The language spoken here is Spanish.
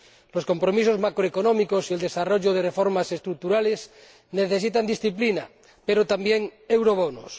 Los compromisos macroeconómicos y el desarrollo de reformas estructurales necesitan disciplina, pero también eurobonos.